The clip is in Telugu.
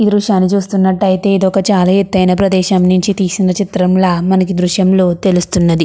ఈ దృశ్యాన్ని చూస్తున్నట్టు అయితే ఇది ఒక చాలా ఎత్తైన ప్రదేశం నుంచి తీసిన చిత్రం ల మనకి ఈ దృశ్యం లో తెలుస్తున్నది.